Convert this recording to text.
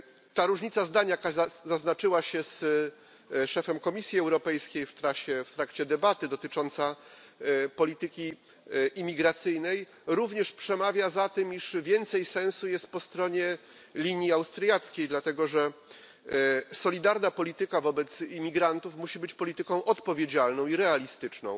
Ta różnica zdań, która zaznaczyła się z szefem Komisji Europejskiej w trakcie debaty, dotycząca polityki imigracyjnej, również przemawia za tym, iż więcej sensu jest po stronie linii austriackiej, dlatego że solidarna polityka wobec imigrantów musi być polityką odpowiedzialną i realistyczną.